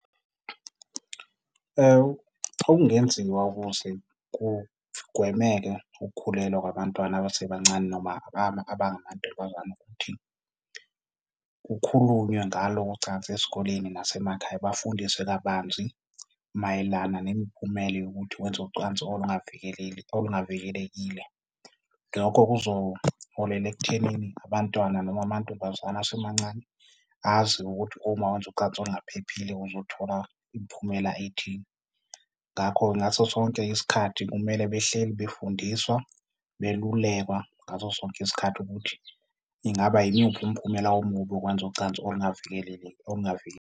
Okungenziwa ukuze kugwemeke ukukhulelwa kwabantwana abasebancane noma abamantombazana ukuthi kukhulunywe ngalo ucansi esikoleni nasemakhaya, bafundiswe kabanzi mayelana nemiphumela yokuthi wenze ucwansi olungavikelekile. Lokho kuzoholela ekuthenini abantwana noma amantombazane asemancane azi ukuthi uma wenza ucansi olungaphephile uzothola imiphumela ethile. Ngakho-ke, ngaso sonke isikhathi kumele behleli befundiswa, belulekwa ngaso sonke isikhathi ukuthi ingaba yimuphi umphumela omubi wokwenza ucansi olungavikelekile.